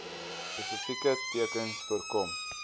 spesifieke tekens voorkom